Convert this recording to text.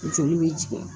Joli bɛ tigɛ